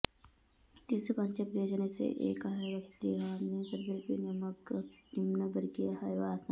एतेषु पञ्चप्रियजनेषु एकः एव क्षत्रियः अन्ये सर्वेऽपि निम्नवर्गीयाः एव आसन्